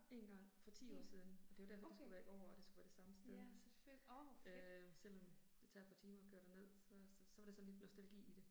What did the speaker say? Én gang, for 10 år siden, og det var derfor det skulle være i år og det skulle være det samme sted. Øh selvom det tager et par timer at køre derned så så var det sådan lidt nostalgi i det